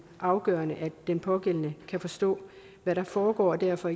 afgørende at den pågældende kan forstå hvad der foregår og derfor